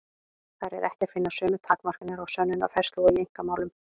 Þar er ekki að finna sömu takmarkanir á sönnunarfærslu og í einkamálum.